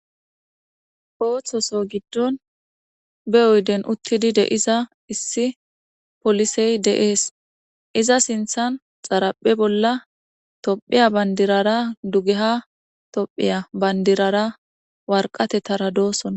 ooththoso giddon be oyden uttidi de iza issi polisey deees iza sinthan xaraphe bolla tophiya bandirara dugeha tophiya bandirara warqatettara doosonna